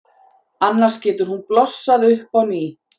Annars getur hún blossað upp á ný.